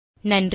நன்றி